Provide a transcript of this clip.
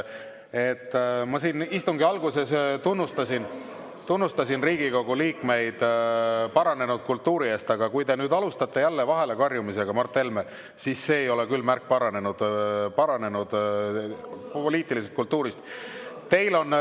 Ma siin istungi alguses tunnustasin Riigikogu liikmeid paranenud kultuuri eest, aga kui te alustate jälle vahele karjumisega, Mart Helme, siis ei ole see küll märk paranenud kultuurist.